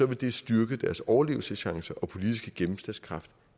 det styrke deres overlevelseschancer og politiske gennemslagskraft